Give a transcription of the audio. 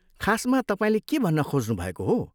खासमा तपाईँले के भन्न खोज्नुभएको हो?